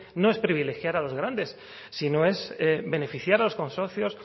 no es privilegiar a los grandes sino es beneficiar a los consorcios